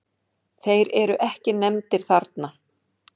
Þeir eru ekki nefndir þarna.